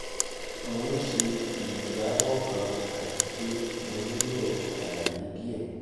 mo n ṣe ijabọ kan ati pe mo nilo alaye diẹ